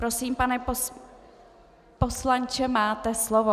Prosím, pane poslanče, máte slovo.